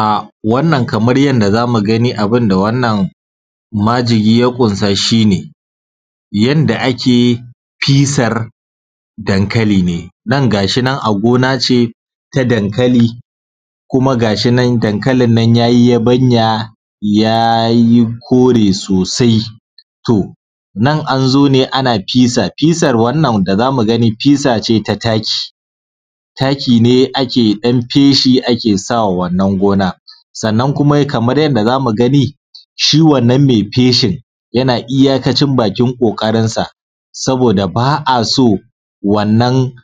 A wannan kamar yandaˋ zamu ganiˋ abundaˋ wannan majigiˋ ya kunsaˋ shi ne, yandaˋ ake fisar dankaliˋ ne, nan dai gashi nan a gonaˋ ce na dankaliˋ ne kumaˋ gashi nan dankalin nan ya yi yabanyaˋ ya yi koreˋ sosai. To nan an zo ne ana fesar, fesar wannan da zamuˋ ganiˋ fisar ce ta takiˋ, takiˋ ne ake dan feshi ake samaˋ wannan gonaˋ. Sannan kumaˋ kaman yandaˋ zamuˋ ganiˋ shi wannan mai feshin yanaˋ iyakacin bakin ƙoƙarinsaˋ sabodaˋ ba’a so wannan